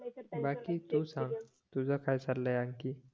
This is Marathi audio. बाकी तूच सांग तुझं काय चालाय आणखी